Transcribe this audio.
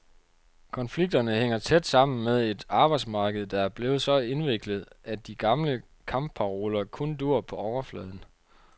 Konflikterne hænger tæt sammen med et arbejdsmarked, der er blevet så indviklet, at de gamle kampparoler kun duer på overfladen.